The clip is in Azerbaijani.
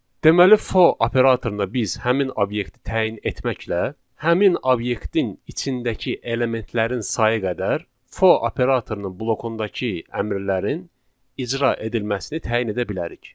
Deməli for operatoruna biz həmin obyekti təyin etməklə, həmin obyektin içindəki elementlərin sayı qədər for operatorunun blokundakı əmrlərin icra edilməsini təyin edə bilərik.